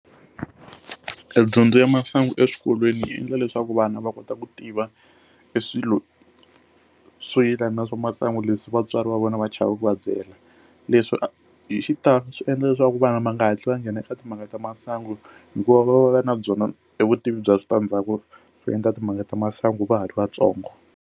Edyondzo ya masangu eswikolweni yi endla leswaku vana va kota ku tiva i swilo swo yelana na swa masangu leswi vatswari va vona va chava ku va byela leswi hi xitalo swi endla leswaku vana ma nga hatli va nghena eka timhaka ta masangu hikuva va va va va na byona evutivi bya switandzhaku swo endla timhaka ta masangu va ha ri vatsongo.